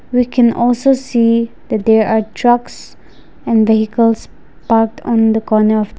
we can also see they are trucks and vehicles parked on the corner.